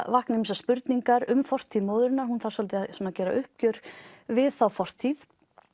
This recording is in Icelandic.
vakna ýmsar spurningar um fortíð móðurinnar hún þarf svolítið að gera uppgjör við þá fortíð